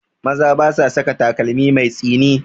Maza ba sa saka takalmi mai tsini